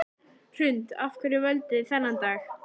Hrund: Af hverju völduð þið þennan dag?